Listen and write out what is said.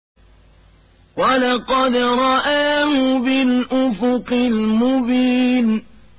وَلَقَدْ رَآهُ بِالْأُفُقِ الْمُبِينِ